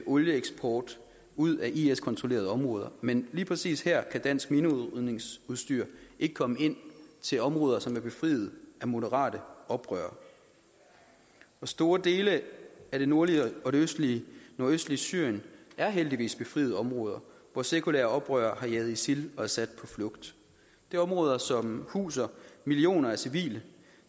olieeksport ud af is kontrollerede områder men lige præcis her kan dansk minerydningsudstyr ikke komme ind til områder som er befriet af moderate oprørere store dele af det nordlige og nordøstlige syrien er heldigvis befriede områder hvor sekulære oprørere har jaget isil og assad på flugt det er områder som huser millioner af civile